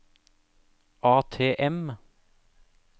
ATM